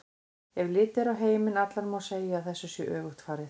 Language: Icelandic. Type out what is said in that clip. Ef litið er á heiminn allan má segja að þessu sé öfugt farið.